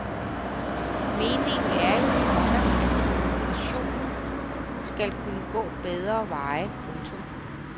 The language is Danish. Meningen er jo, komma at kommunikationen skal kunne gå bedre veje. punktum